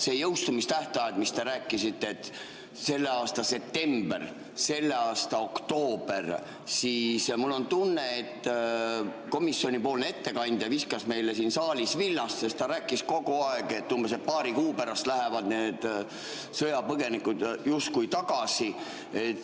See jõustumistähtaeg, mis te ütlesite, selle aasta september, selle aasta oktoober – mul on tunne, et komisjonipoolne ettekandja viskas meile siin saalis villast, sest ta rääkis kogu aeg, et paari kuu pärast lähevad need sõjapõgenikud justkui tagasi.